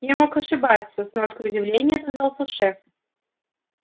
я мог ошибаться с ноткой удивления отозвался шеф